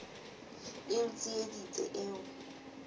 e o tsieditse e o